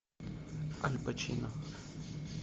аль пачино